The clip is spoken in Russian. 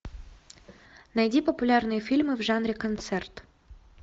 найди популярные фильмы в жанре концерт